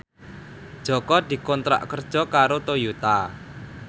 Jaka dikontrak kerja karo Toyota